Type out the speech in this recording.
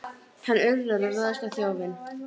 Sigurunn, hringdu í Sigfreð.